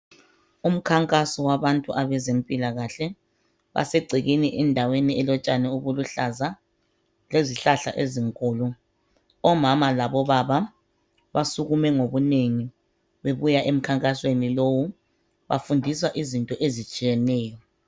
Umkhankaso wabantu abezempilakahle basegcekeni endaweni elotshani obuluhlaza lezihlahla ezinkulu omama labo baba basukume ngobunengi bebuya emkhankasweni lowu bafundiswa izinto ezitshiyeneyo.